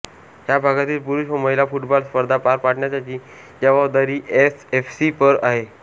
ह्या भागातील पुरूष व महिला फुटबॉल स्पर्धा पार पाडण्याची जबाबदारी ए एफ सी वर आहे